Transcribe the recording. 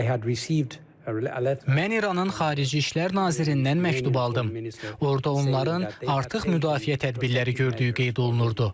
Mən İranın xarici İşlər nazirindən məktub aldım, orada onların artıq müdafiə tədbirləri gördüyü qeyd olunurdu.